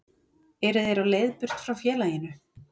Eru þeir á leið burt frá félaginu?